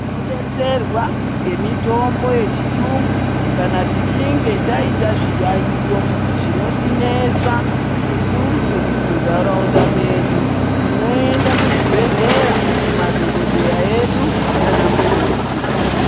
Tinodetserwa ngemitombo yechiyungu kana tichinge taita zviyaiyo zvinotinetsa isusu muntaraunda medu. Tinoenda kuchibhedhleya kumadhokodheya edu nana mukoti.